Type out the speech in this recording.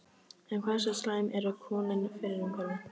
En hversu slæm eru kolin fyrir umhverfið?